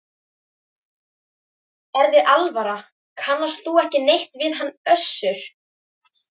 Er þér alvara, kannast þú ekki neitt við hann Össur?